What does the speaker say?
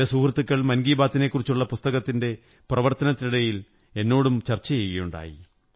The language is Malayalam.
ചില സുഹൃത്തുക്കൾ മന്കീു ബാത്തിനെക്കുറിച്ചുള്ള പുസ്തകത്തിന്റെ പ്രവര്ത്ത നത്തിനിടയിൽ എന്നോടും ചര്ച്ചക ചെയ്യുകയുണ്ടായി